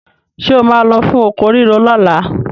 Ṣé o máa lọ fún oko rírò lọ́la?